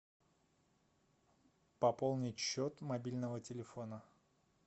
пополнить счет мобильного телефона